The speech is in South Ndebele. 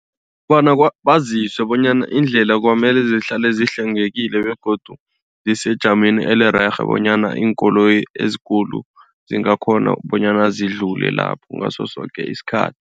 Kobona baziswe bonyana indlela kwamele zihlale sihlwengekile begodu zisejameni oburerhe bonyana iinkoloyi ezikulu zingakghona bonyana ziyadlula lapho ngaso soke isikhathi.